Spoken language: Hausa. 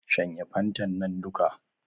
Shanye fantan nan duka